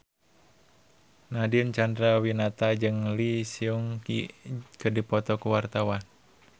Nadine Chandrawinata jeung Lee Seung Gi keur dipoto ku wartawan